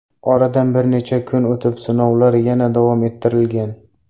Oradan bir necha kun o‘tib sinovlar yana davom ettirilgan .